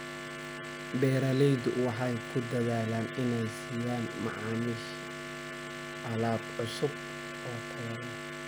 Beeraleydu waxay ku dadaalaan inay siiyaan macaamiisha alaab cusub oo tayo leh.